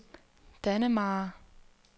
Dannemare